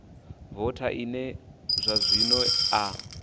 voutha ine zwa zwino a